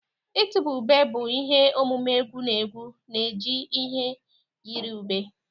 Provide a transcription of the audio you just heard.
Ịtụba ube bụ ihe omume egwu na egwu na-eji ihe yiri ube.